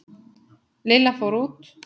Lilla fór út.